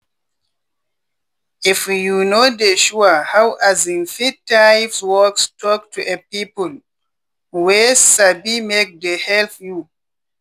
if you no dey sure how um feed types works talk to a people wey sabimake dey help you.